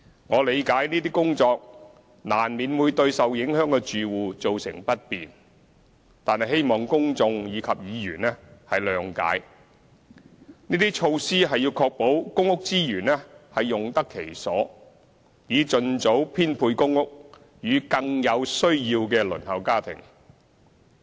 我理解這些工作難免會對受影響的住戶造成不便，但希望公眾及議員諒解，這些措施是要確保公屋資源用得其所，以盡早編配公屋予更有需要的輪候家庭。